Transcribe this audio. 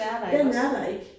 Den er der ikke